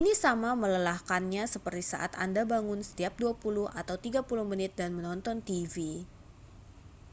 ini sama melelahkannya seperti saat anda bangun setiap dua puluh atau tiga puluh menit dan menonton tv